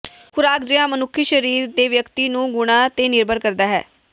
ਖੁਰਾਕ ਜਿਹਾ ਮਨੁੱਖੀ ਸਰੀਰ ਦੇ ਵਿਅਕਤੀ ਨੂੰ ਗੁਣਾ ਤੇ ਨਿਰਭਰ ਕਰਦਾ ਹੈ